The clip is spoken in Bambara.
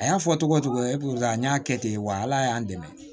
A y'a fɔ togo togo epi ka n'a kɛ ten wa ala y'an dɛmɛ